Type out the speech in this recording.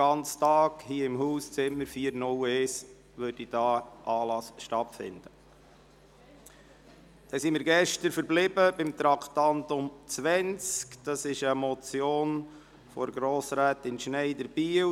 Gestern sind wir beim Traktandum 20 verblieben, einer Motion von Grossrätin Schneider, Biel.